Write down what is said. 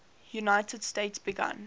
united states began